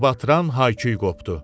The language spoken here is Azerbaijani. Qulaqbatıran hay-küy qopdu.